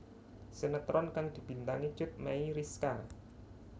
Sinetron kang dibintangi Cut Meyriska